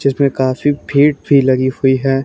जिसमें काफी भीड़ भी लगी हुई है।